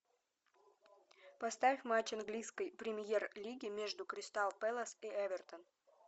поставь матч английской премьер лиги между кристал пэлас и эвертон